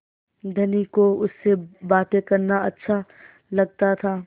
धनी को उससे बातें करना अच्छा लगता था